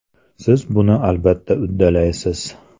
Siz buni albatta uddalaysiz.